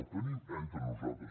el tenim entre nosaltres